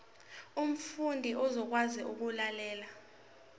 umfundi uzokwazi ukulalela